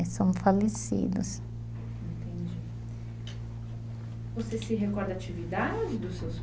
Eles são falecidos. Entendi. Você se recorda da atividade dos seus